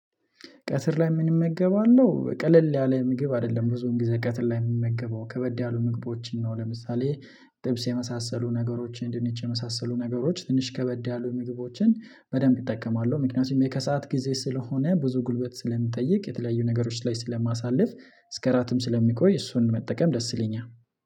ቀትር ላይ ምን እመገባለሁ ቀለል ያለ ምግብ አይደለም ብዙም ጊዜ ቀትር ላይ የምንመገበው ከበድ ያሉ ምግቦችን ነው። ለምሳሌ ጥብስ የመሳሰሉ ነገሮችን ድንች የመሳሰሉ ነገሮችን ትንሽ ከበደ ያሉ ምግቦችን በደንብ እጠቀማለሁ ምክንያቱም የከሰአት ጊዜ ስለሆነ ብዙ ጉልበት ስለምጠይቅ የተለያዩ ነገሮች ላይ ስለማሳልፍ እስከ እራትም ስለሚቆይ እሱን መጠቀም ደስ ይለኛል።